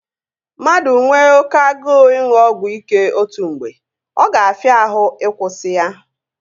Mmadụ nwe oké agụụ ịṅụ ọgwụ ike otu mgbe, ọ ga-afịa ahụ ị kwụsị ya